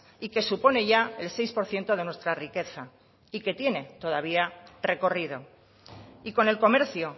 y que supone ya el seis por ciento de nuestra riqueza y que tiene todavía recorrido y con el comercio